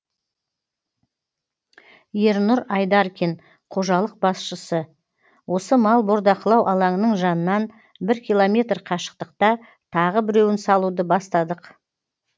ернұр айдаркин қожалық басшысы осы мал бордақылау алаңының жанынан бір киллометр қашықтықта тағы біреуін салуды бастадық